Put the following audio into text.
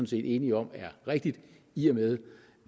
set enige om er rigtigt i og med